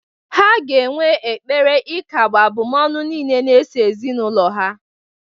Ha ga-enwe ekpere ikagbu abụmọnụ niile na-eso ezinaụlọ ha